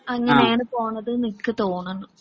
അങ്ങനെയാണ് പോണത് നിക്ക്‌ തോന്നണത്